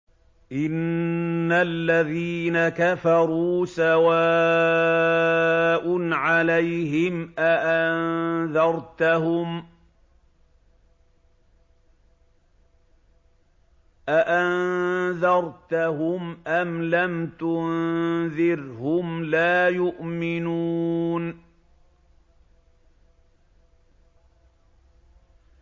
إِنَّ الَّذِينَ كَفَرُوا سَوَاءٌ عَلَيْهِمْ أَأَنذَرْتَهُمْ أَمْ لَمْ تُنذِرْهُمْ لَا يُؤْمِنُونَ